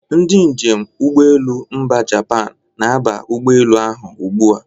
Ndị njem ụgbọelu mba Japan na-aba ụgbọelu ha ugbu a.